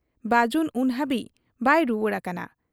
ᱵᱟᱹᱡᱩᱱ ᱩᱱ ᱦᱟᱹᱵᱤᱡ ᱵᱟᱭ ᱨᱩᱣᱟᱹᱲ ᱟᱠᱟᱱᱟ ᱾